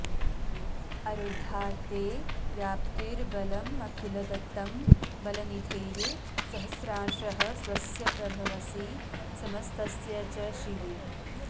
अरुद्धा ते व्याप्तिर्बलमखिलदत्तं बलनिधेः सहस्रांशः स्वस्य प्रभवसि समस्तस्य च शिवे